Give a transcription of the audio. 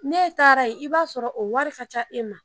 Ne taara yen i b'a sɔrɔ o wari ka ca e ma